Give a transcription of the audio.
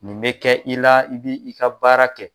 Nin bɛ kɛ i la i b'i ka baara kɛ.